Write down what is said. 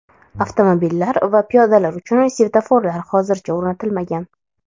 Avtomobillar va piyodalar uchun svetoforlar hozircha o‘rnatilmagan.